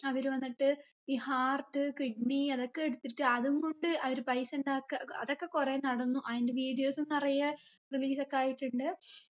അവര് വന്നിട്ട് ഈ heart kidney അതൊക്കെ എടുത്തിട്ട് അതും കൊണ്ട് അവര് പൈസ ഇണ്ടാക്കാ അഹ് അതൊക്കെ കുറേ നടന്നു അയിന്റെ videos ഉം നിറയെ release ഒക്കെ ആയിട്ടുണ്ട്